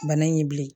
Bana in ye bilen